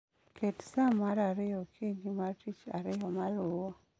Ket sa mar ariyo okinyi mar Tich Ariyo maluwo